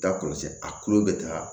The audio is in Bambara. Da kɔlɔsi a tulo bɛ taa